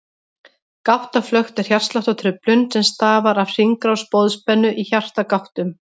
Gáttaflökt er hjartsláttartruflun sem stafar af hringrás boðspennu í hjartagáttum.